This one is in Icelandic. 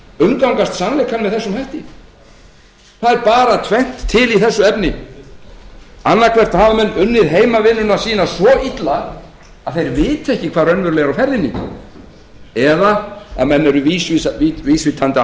umgangast sannleikann með þessum hætti það er bara tvennt til með þessum hætti annaðhvort hafa menn unnið heimavinnuna sína svo illa að þeir viti ekki hvað raunverulega er á ferðinni eða menn eru vísvitandi